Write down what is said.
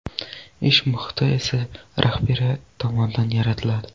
Ish muhiti esa rahbariyat tomonidan yaratiladi .